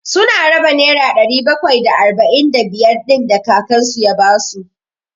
Su na raba nera ɗari bakwai da arba'in da biyar ɗin da kakan su ya ba su.